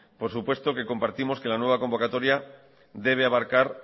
por supuesto que compartimos que la nueva convocatoria debe abarcar